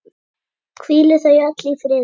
Hvíli þau öll í friði.